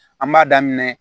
An b'a daminɛ